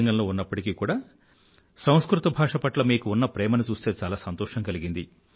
T రంగంలో ఉన్నప్పటికీ కూడా సంస్కృత భాష పట్ల మీకు ఉన్న ప్రేమను చూస్తే చాలా సంతోషం కలిగింది